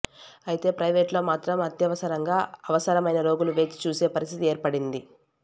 అయితే ప్రయివేటులో మాత్రం అత్యవసరంగా అవసరమైన రోగులు వేచి చూసే పరిస్థితి ఏర్పడింది